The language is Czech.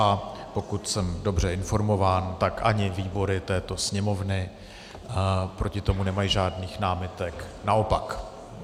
A pokud jsem dobře informován, tak ani výbory této Sněmovny proti tomu nemají žádných námitek, naopak.